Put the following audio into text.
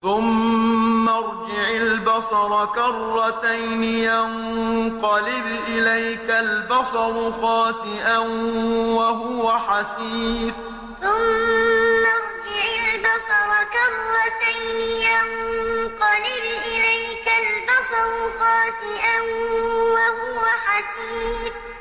ثُمَّ ارْجِعِ الْبَصَرَ كَرَّتَيْنِ يَنقَلِبْ إِلَيْكَ الْبَصَرُ خَاسِئًا وَهُوَ حَسِيرٌ ثُمَّ ارْجِعِ الْبَصَرَ كَرَّتَيْنِ يَنقَلِبْ إِلَيْكَ الْبَصَرُ خَاسِئًا وَهُوَ حَسِيرٌ